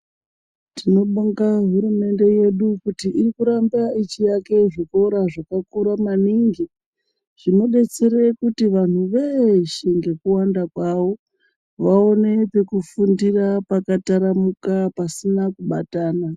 Tinobonga hurumende yedu kuti irikuramba ichiaka zvikora zvakakura maningi zvinodetsere kuti vanhu veshe ngekuwanda kwawo vaone pekufundira pakataramuka pasina kubatana.